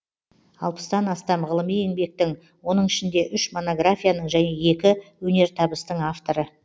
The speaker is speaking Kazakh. алпыстан астам ғылыми еңбектің оның ішінде үш монографияның және екі өнертабыстың авторы